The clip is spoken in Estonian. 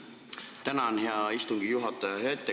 Tänan, hea istungi juhataja!